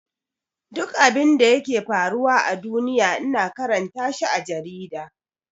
Duk abinda yake faruwa a duniya ina karanta shi a jarida.